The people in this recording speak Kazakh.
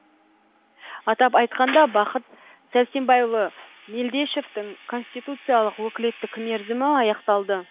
атап айтқанда бақыт сәрсенбайұлы мелдешовтің конституциялық өкілеттік мерзімі аяқталды